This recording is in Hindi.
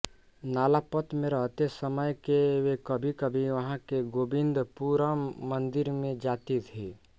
नालापत में रहते समय वे कभीकभी वहाँ के गोविंदपुरम मन्दिर में जाती थीं